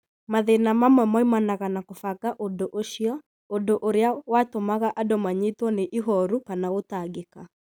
Mathĩna mamwe moimanaga na kũbanga ũndũ ũcio, ũndũ ũrĩa watũmaga andũ manyitwo nĩ ihooru kana gũtangĩka.